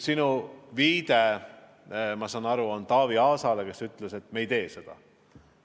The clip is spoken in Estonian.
Sa viitasid, nagu ma aru saan, Taavi Aasale, kes ütles, et me ei tee seda.